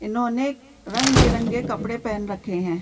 इन्होंने रंग बिरंगे कपड़े पहन रखे हैं।